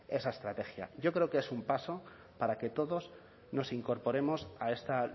esa estrategia yo creo que es un paso para que todos nos incorporemos a esta